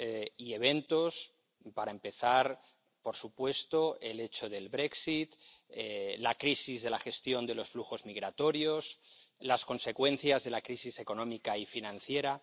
y eventos para empezar, por supuesto, el hecho del la crisis de la gestión de los flujos migratorios, las consecuencias de la crisis económica y financiera.